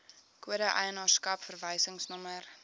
kode eienaarskap verwysingsnommer